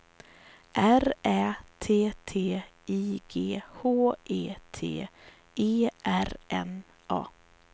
R Ä T T I G H E T E R N A